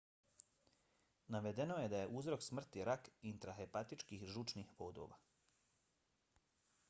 navedeno je da je uzrok smrti rak intrahepatičkih žučnih vodova